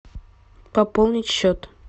пополнить счет